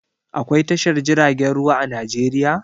Aƙwai tashar jiragen ruwa a Najeriya?